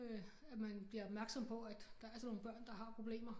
Øh at man bliver opmærksom på at der er altså nogle børn der har problemer